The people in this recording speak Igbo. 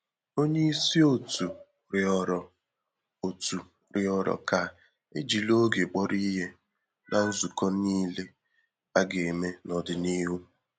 Onye isi òtù rịọrọ òtù rịọrọ ka e jiri oge kpọrọ ihe n’nzukọ niile a ga-eme n’ọdịnihu.